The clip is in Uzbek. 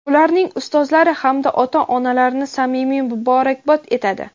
ularning ustozlari hamda ota-onalarini samimiy muborakbod etadi!.